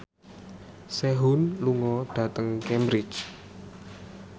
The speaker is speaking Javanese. Sehun lunga dhateng Cambridge